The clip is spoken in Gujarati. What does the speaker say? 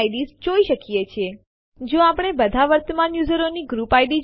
તે ઓવરરાઇટ કરવા પેહલા બધી ફાઈલો નું ડેસ્ટીનેશન માં બેકઅપ લેશે